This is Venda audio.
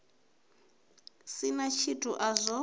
si na tshithu a zwo